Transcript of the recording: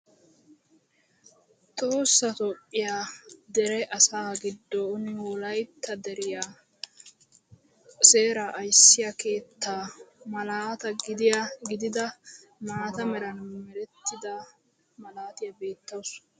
Tohossa Toophiya dere asaa giddon Wolaytta deriyaa seeraa ayssiya keettaa malaata gidida maata meran merettida malaatiyaa beettawusu.